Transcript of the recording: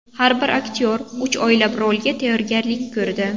Har bir aktyor uch oylab rolga tayyorgarlik ko‘rdi.